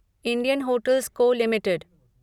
Indian hotels co. Limited